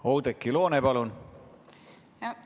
Oudekki Loone, palun!